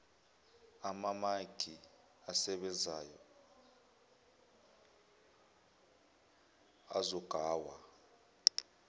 amamaki asebenzayo azogaywa